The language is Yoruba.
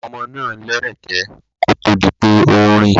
Ọmọ náà lẹ́rẹ̀kẹ́ kó tó di pé ó ń rìn.